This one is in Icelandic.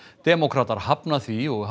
demókratar hafna því og